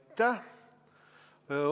Aitäh!